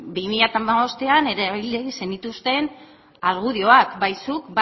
bi mila hamabostean erabili zenituzten argudioak bai zuk